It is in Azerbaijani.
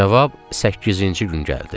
Cavab səkkizinci gün gəldi.